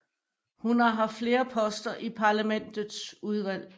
Hun har haft flere poster i parlamentets udvalg